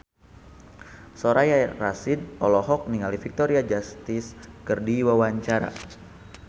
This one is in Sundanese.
Soraya Rasyid olohok ningali Victoria Justice keur diwawancara